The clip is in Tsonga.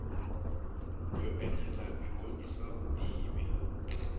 byo enela byi kombisa vutivi